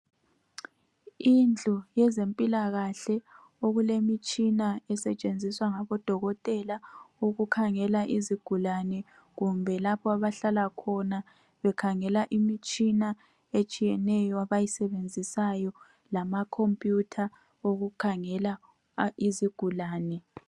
Indlu yezempilakahle okulemitshina esetshenziswa ngabo dokotela ukukhangela izigulane kumbe lapha abahlala khona bekhangela imitshina etshiyeneyo abayisebenzisayo lamakhompuyutha okhangela izigulane.